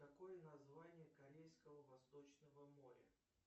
какое название корейского восточного моря